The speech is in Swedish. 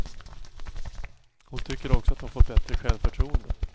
Hon tycker också att hon fått bättre självförtroende.